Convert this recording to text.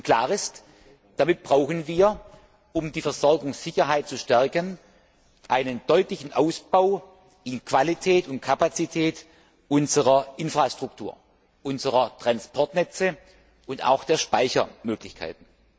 Klar ist, damit brauchen wir, um die Versorgungssicherheit zu stärken, einen deutlichen Ausbau in Qualität und Kapazität unserer Infrastruktur, unserer Transportnetze und auch der Speichermöglichkeiten.